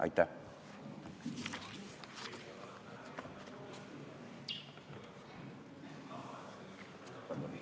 Aitäh!